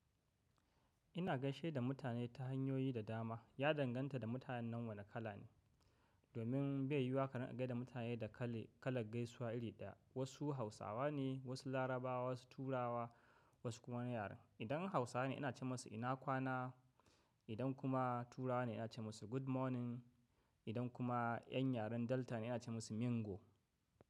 Ina gaishe da mutane ta hanyoyi da dama. Ya danganta da mutanen wane kala ne. Domin bai yi wa ka na gaishe da mutane da kalan gaisuwa iri ɗaya. Wasu Hausawa ne, wasu Larabawa, wasu Turawa wasu kuma wani yaren. Idan Hausa ne ina ce musu ina kwana. Idan kuma Turawa ne ina ce musu good morning. Idan kuma yan yaren Delta ne ina ce musu Mingo.